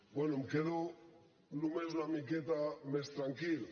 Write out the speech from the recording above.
bé em quedo només una miqueta més tranquil